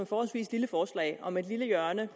forholdsvis lille forslag om et lille hjørne